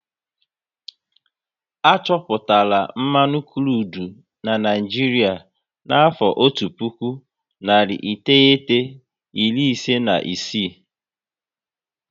A chọpụtara mmanụ krudu n'Naijiria n'afọ otu puku, nari iteghete, iri ise na isii